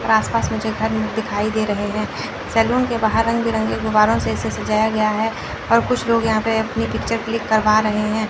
आस पास मुझे घर दिखाई दे रहे हैं सैलून के बाहर रंग बिरंगे गुब्बारों से इसे सजाया गया है और कुछ लोग यहां पे अपनी पिक्चर क्लिक करवा रहे हैं।